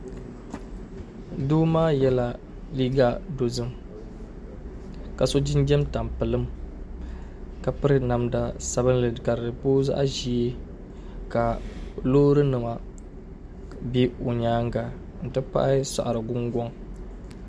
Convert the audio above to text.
Doo maa yɛla liiga dozim ka so jinjɛm tampilim ka piri namda sabinli ka di booi zaɣ'ʒee ka loorinima be o nyaanga nti pahi saɣirigungɔŋ